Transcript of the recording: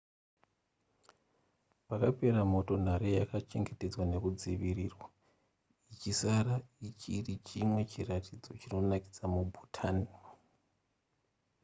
pakapera moto nhare yakachengetedzwa nekudzivirirwa ichisara ichiri chimwe chiratidzo chinonakidza mubhutan